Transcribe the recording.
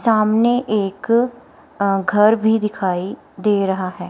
सामने एक अह घर भी दिखाई दे रहा है।